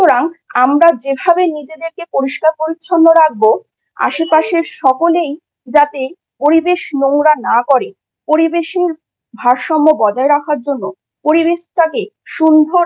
আমরা যেভাবে নিজেদেরকে পরিষ্কার পরিচ্ছন্ন রাখব আশেপাশের সকলেই যাতে পরিবেশ নোংরা না করে পরিবেশের ভারসাম্য বজায় রাখার জন্য পরিবেশটাকে সুন্দর